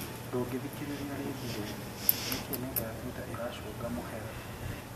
Ndũngithikiriria ringi riu, niki nenda ya Twitter iracũnga mũhera?